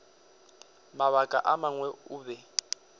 mabaka a mangwe o be